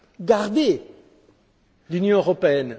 Gardez l'Union européenne.